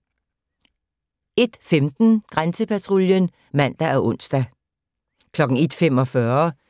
01:15: Grænsepatruljen (man og ons) 01:45: